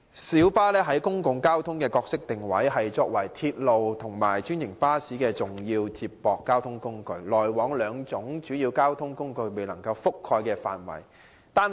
小巴在本港公共運輸的角色，是作為鐵路及專營巴士的重要接駁交通工具，主要服務該兩種主要交通工具未能覆蓋的範圍。